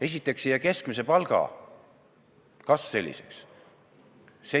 Esiteks ei jää keskmise palga kasv selliseks.